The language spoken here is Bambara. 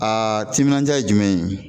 Aa timinandiya ye jumɛn ye